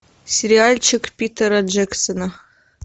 сериальчик питера джексона